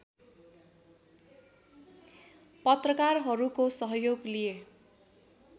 पत्रकारहरूको सहयोग लिए